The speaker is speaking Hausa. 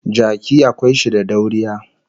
Jaki akwai shi da dauriya